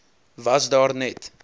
was daar net